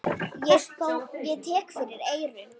Ég tek fyrir eyrun.